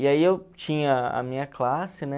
E aí eu tinha a minha classe, né?